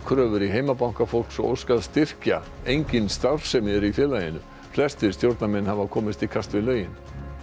valkröfur í heimabanka fólks og óskað styrkja engin starfsemi er í félaginu flestir stjórnarmenn hafa komist í kast við lögin